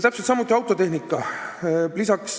Täiustub ka autotehnika.